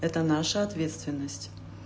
это наша ответственность